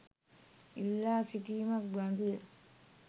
ඉල්ලා සිටීමක් බඳු ය.